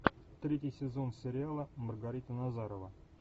третий сезон сериала маргарита назарова